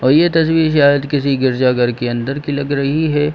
और ये तस्वीर सायद किसी गिरजा घर के अंदर की लग रही है।